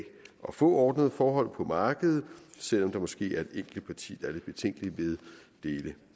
at få ordnede forhold på markedet selv om der måske er et enkelt parti der er lidt betænkeligt ved dele